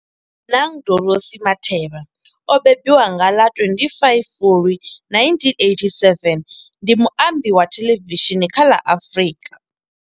Bonang Dorothy Matheba o mbembiwa nga ḽa 25 Fulwi 1987, ndi muambi wa thelevishini kha ḽa Afrika.